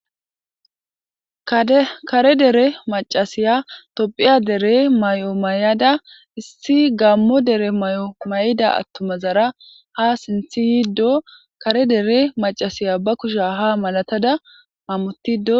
Kade kare dere maccasiya topphiya dere mayo mayada issi gaammo dere mayo mayida attumazara ha sinthi yiiddo kare dere macasiya ba kusha ha malatada hammutiido.